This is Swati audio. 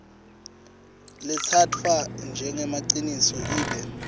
letsatfwa njengemaciniso ibe